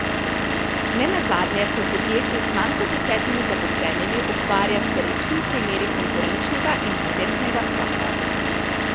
Nenazadnje se v podjetju z manj kot desetimi zaposlenimi ukvarja s perečimi primeri konkurenčnega in patentnega prava.